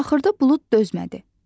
Axırda bulud dözmədi.